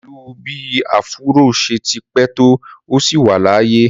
Pẹ̀lú bí áfúró ṣe ti pẹ́ tó, ó ṣì wà láàyè